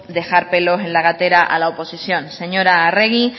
dejar pelos en la gatera a la oposición señora arregi